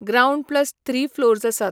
Ground plus three floors आसा.